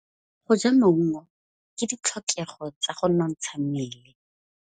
Go ja maungo ke ditlhokegô tsa go nontsha mmele.